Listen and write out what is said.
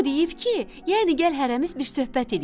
O deyib ki, yəni gəl hərəmiz bir söhbət eləyək.